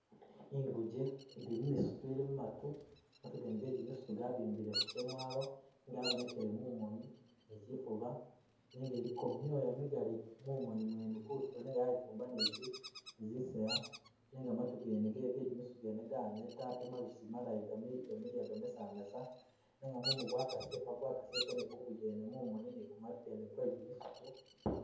Inguje ili mumisito ili mumatu ,matugene ge’jimisito gabimbileko kyamwalo ,gabonekele mumoni ni kyifuba nenga iliko mwola migali mumoni mwene kutulo nenga yayifumba ni zisaya nenga matu gene gejimisito ganeta ate mabisi malayi gamiliya gamesamesa nenga mumu gwakasile gwakasile ni kunguje yene mumoni ni kumatu kwene kwe’gimisitu.